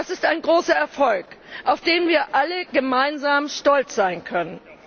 Das ist ein großer Erfolg, auf den wir alle gemeinsam stolz sein können.